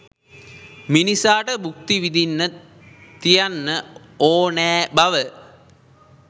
මිනිසාට බුක්ති විදින්න තියන්න ඕනැ බව.